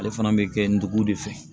Ale fana bɛ kɛ ndugu de fɛ